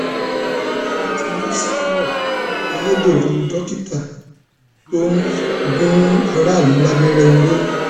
wọn ti mú samuel ayédèrú dókítà tó ń gun aráàlú lábẹrẹ ọrọ